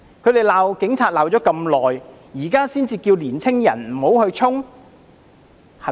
他們罵警察罵了那麼久，現在才叫年青人不要衝？